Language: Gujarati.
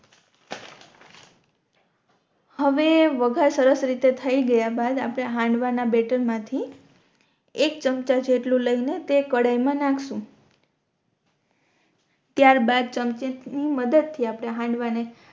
હવે વઘાર સરસ રીતે થઈ ગયા બાદ આપણે હાંડવા ના બેટર મા થી એક ચમચા જેટલું લઈ ને તે કઢાઈ મા નાખશુ ત્યાર બાદ ચમચા ની મદદ થી આપણે હાંડવા ને